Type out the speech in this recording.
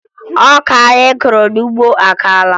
Ọka anyị kọrọ n'ugbo akaala